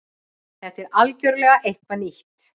Þetta er algjörlega eitthvað nýtt